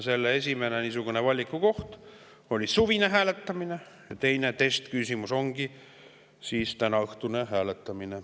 Esimene niisugune valikukoht oli suvine hääletamine ja teine testküsimus ongi tänaõhtune hääletamine.